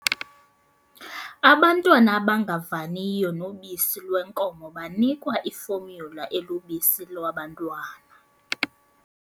Abantwana abangavaniyo nobisi lwenkomo banikwa iformula elubisi lwabantwana.